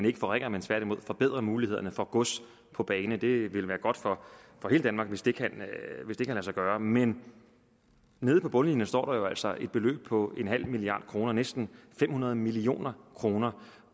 ikke foringer men tværtimod forbedrer mulighederne for gods på bane det vil være godt for hele danmark hvis det kan lade sig gøre men nede på bundlinjen står der jo altså et beløb på nul milliard kroner næsten fem hundrede million kroner